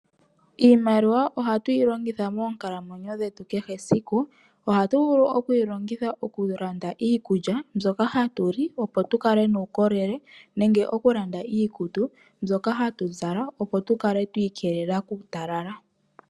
Iimaliwa ohatu yi longitha moonkalamwenyo dhetu kehe esiku. Oha tu vulu okuyi longitha oku landa iikulya mbyoka hatu li opo tu kale nuukolele nenge oku landa iikutu mbyoka hatu zala opo tu kale twi ikelela kuutalala.